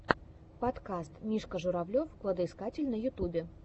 подкаст мишка журавлев кладоискатель на ютубе